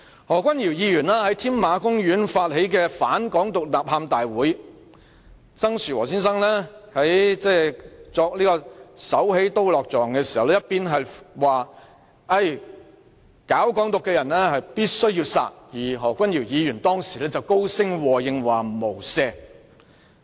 何君堯議員在添馬公園發起"反港獨、反冷血、反偽學吶喊大會"，曾樹和先生在作"手起刀落"狀時說道，"搞'港獨'者必須殺"，而何君堯議員當時便高聲和應說"無赦"。